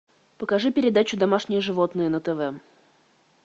покажи передачу домашние животные на тв